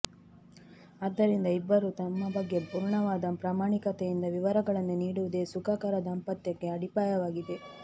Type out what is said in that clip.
ಆದ್ದರಿಂದ ಇಬ್ಬರೂ ತಮ್ಮ ಬಗ್ಗೆ ಪೂರ್ಣವಾದ ಪ್ರಾಮಾಣಿಕತೆಯಿಂದ ವಿವರಗಳನ್ನು ನೀಡುವುದೇ ಸುಖಕರ ದಾಂಪತ್ಯಕ್ಕೆ ಅಡಿಪಾಯವಾಗಿದೆ